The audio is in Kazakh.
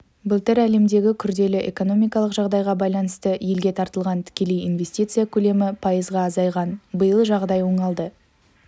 былтыр әлемдегі күрделі экономикалық жағдайға байланысты елге тартылған тікелей инвестиция көлемі пайызға азайған биыл жағдай оңалды